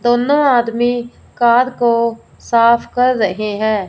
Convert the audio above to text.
दोनों आदमी कार को साफ कर रहे हैं।